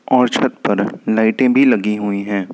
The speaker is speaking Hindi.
और छत पर लाइटें भी लगी हुई हैं।